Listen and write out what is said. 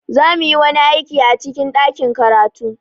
Za mu yi wani aiki a cikin ɗakin karatu.